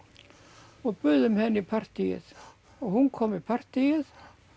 og buðum henni í partýið hún kom í partýið